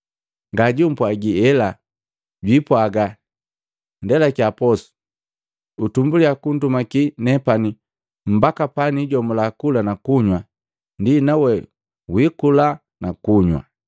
Ngajupwagiela! Jwiipwaga, ‘Ndelakiya posu, utumbuliya kundumaki nepani mbaka pani jomula kula na kunywa, ndi nawe wiikula na kunywa!’